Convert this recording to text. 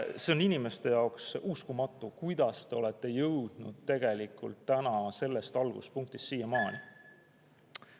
See on inimeste jaoks uskumatu, et me oleme jõudnud tegelikult sellest alguspunktist siiamaani.